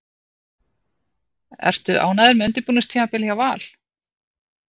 Ertu ánægður með undirbúningstímabilið hjá Val?